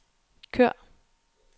kør